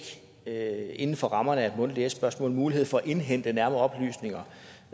inden for rammerne af et mundtligt s spørgsmål mulighed for at indhente nærmere oplysninger